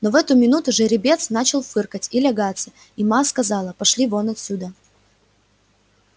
но в эту минуту жеребец начал фыркать и лягаться и ма сказала пошли вон отсюда